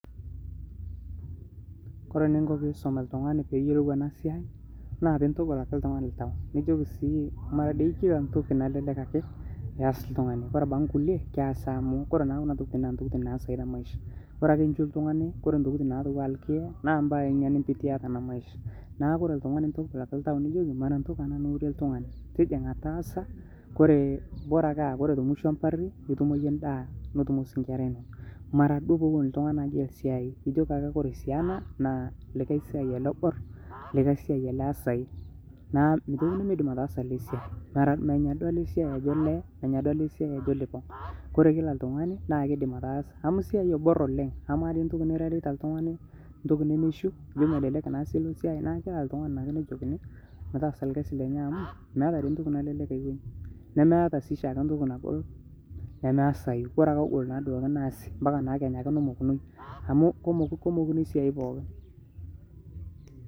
kore ninkoo tinisom ltunganii peeyolou anaa siai naa tinintogol akee ltungani ltau nijokii sii maraa dei kila ntokii nalelek akee eyas ltunganii kore abakii nkulie keasii amu kore naa kuna tokitin naa ntokitin naasai te maisha kore akee inshuu ltungani kore ntokitin natuwaa lkiyee naa mbai inia nimpitia tanaa maisha naaku kore ltungani intogol akee ltau nijokii maraa ntokii anaa niurie ltungani tijingaa taasa kore boraa ake aa kore te mushoo ee mparii itumoo yie ndaa notumoo sii nkera inonoo maraa duo poowon ltungani agel siai ijokii kore sii anaa naa likai siai alee obor likai siai alee easai naaku meitoki nemeidim ataaza alee siai menyaa duo alee siai ajoo lee menya ajoo lipong. Kore kila ltunganii naa keidim ataaza amuu siai ebor oleng amaa dei ntokii mirereita ltungani ntokii nemeishuu ijo melelek naa siai naaku kila ltunganii naake nejokinii metaasa lkazii lenyee amuu meataa dei ntokii nalelek aikonyii nemeataa sii shaake ntokii nagol nemeasayuu kore naake duake egol naasi mpaka naa kenyaake nomokunii amu komukuni siai pooki